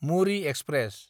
Muri express